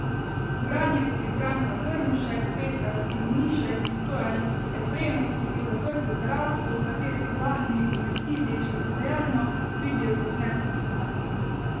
Branjevci Branka Grmšek, Petra Simonišek in Stojan Efremovski zaprto teraso, v katero so lani umestili še prodajalno, vidijo kot nefunkcionalno.